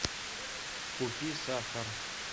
купи сахар